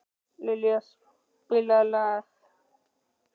Liljan, spilaðu lag.